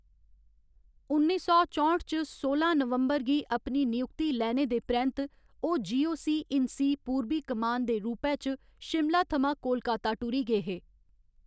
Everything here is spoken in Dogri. उन्नी सौ चौंठ च सोलां नवंबर गी अपनी नियुक्ति लैने दे परैंत्त ओह्‌‌ जीओसी इन सी पूर्बी कमान दे रूपै च शिमला थमां कोलकाता टुरी गे हे।